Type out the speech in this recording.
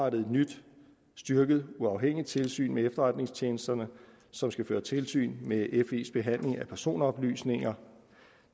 et nyt styrket uafhængigt tilsyn med efterretningstjenesterne som skal føre tilsyn med fes behandling af personoplysninger